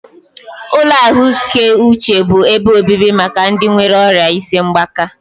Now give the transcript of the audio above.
Ụlọ ahụike uche bụ ebe obibi maka ndị nwéré ọrịa isi mgbaka